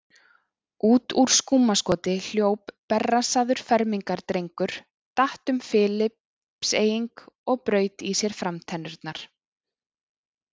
Út úr skúmaskoti hljóp berrassaður fermingardrengur, datt um Filippseying og braut í sér framtennurnar.